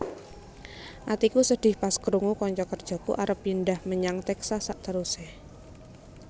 Atiku sedih pas krungu konco kerjoku arep pindah menyang Texas sakteruse